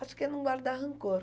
Acho que é não guardar rancor.